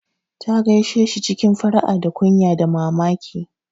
Ta gaishe shi cikin fara'a da kunya da mamaki.